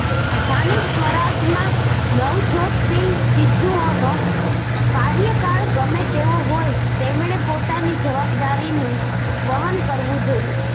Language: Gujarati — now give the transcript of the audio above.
સ્થાનિક સ્વરાજમાં નવજોત સિંહ સિદ્ધુનો કાર્યકાળ ગમે તેવો હોય તેમણે પોતાની જવાબદારીનું વહન કરવું જોઇએ